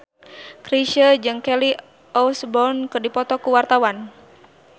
Chrisye jeung Kelly Osbourne keur dipoto ku wartawan